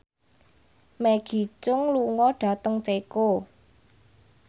Maggie Cheung lunga dhateng Ceko